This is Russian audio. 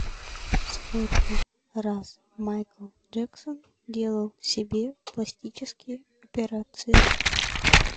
сколько раз майкл джексон делал себе пластические операции